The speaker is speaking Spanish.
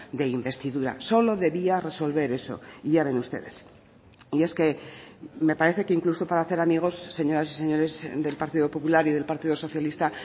de investidura solo debía resolver eso y ya ven ustedes y es que me parece que incluso para hacer amigos señoras y señores del partido popular y del partido socialista